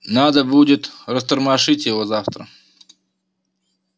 надо будет растормошить его завтра